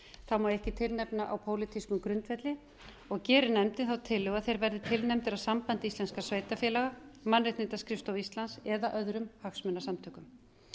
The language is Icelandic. þá má ekki tilnefna á pólitískum grundvelli og geri nefndin tillögu að þeir verði tilnefndir af sambandi íslenskra sveitarfélaga mannréttindaskrifstofu íslands eða öðrum hagsmunasamtökum